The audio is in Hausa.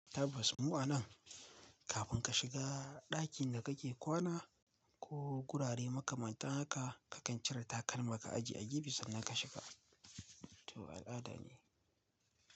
Tabbas mu a nan kafin ka shiga ɗakin da kake kwana ko gurare makamanta haka kakan cire takalman ka ajiye a gefe sannan ka shiga. To al'ada ne.